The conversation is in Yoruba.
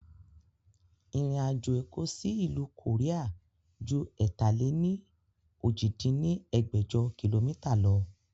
Ìrìn àjò Èkó sì ìlú koría ju ẹ̀ta-lé-ní-ojì dín ní ẹgbẹ́jọ kìlómítà lọ